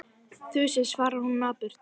Þusið, svarar hún napurt.